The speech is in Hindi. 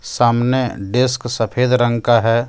सामने डेस्क सफेद रंग का है।